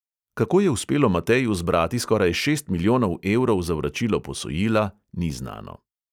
Kako je uspelo mateju zbrati skoraj šest milijonov evrov za vračilo posojila, ni znano.